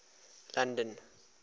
london